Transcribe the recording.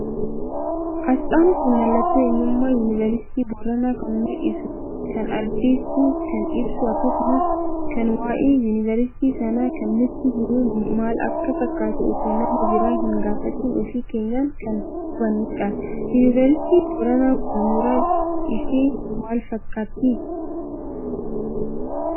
Asxaan kun mallattoo eenyummaa yuuniversiitii Boranaa kan mul'isu, kan addeessu, kan ibsu akkasumas kan waa'ee yuuniversiitii sanaa kan nutti himu maal akka fakkaatu osoo nama biraa hin gaafatin ofii keenyaan kan hubanuudha. yuuniversiitiin Boranaa kun mooraan ishee maal fakkatti?